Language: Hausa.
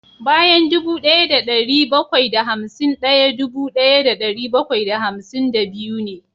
Bayan dubu daya da dari bakwai da hamsin daya dubu daya da dari bakwai da hamsin da biyu ne